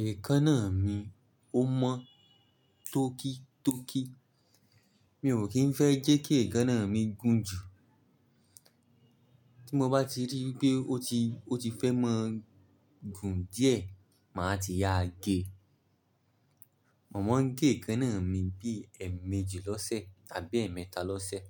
Èékánná mi ó mọ́ tókí tókí. Mi ò kì í fẹ́ jẹ́ kí èékánná mi gùn jù. Tí mo bá ti rí pé ó ti, ó ti fẹ́ ma gùn díẹ̀, màá ti yá a gé. Mo má ń gé èékánná mi bí ẹ̀ẹ̀mẹjì lọ́sẹ̀ tàbí ẹ̀ẹ̀mẹta lọ́sẹ̀.